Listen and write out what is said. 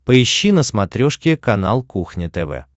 поищи на смотрешке канал кухня тв